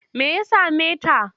Me ya same ta?